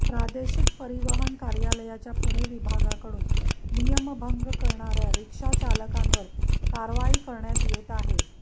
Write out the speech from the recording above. प्रादेशिक परिवहन कार्यालयाच्या पुणे विभागाकडून नियमभंग करणाऱ्या रिक्षाचालकांवर कारवाई करण्यात येत आहे